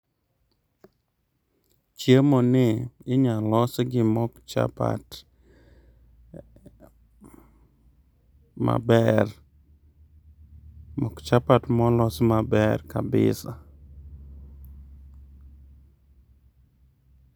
Chiemo ni inya los gi mok chapat maber. Mok chapat molos maber kabisa